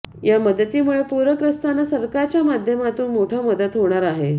या मदतीमुळे पुरग्रस्तांना सरकारच्या माध्यमातुन मोठा मदत होणार आहे